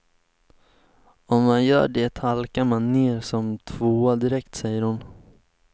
Om man gör det halkar man ner som tvåa direkt, säger hon.